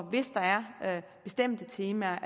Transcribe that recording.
hvis der er bestemte temaer